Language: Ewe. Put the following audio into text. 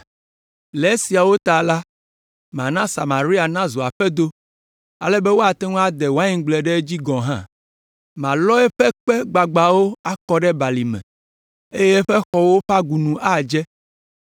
“Le esiawo ta la, mana Samaria nazu aƒedo, ale be woate ŋu ade waingble ɖe edzi gɔ̃ hã. Malɔ eƒe kpe gbagbãwo akɔ ɖe balime eye eƒe xɔwo ƒe agunu adze.